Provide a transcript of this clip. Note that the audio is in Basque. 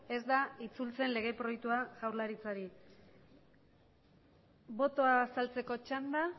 ez da itzultzen lege proiektua jaurlaritzari botoa azaltzeko txanda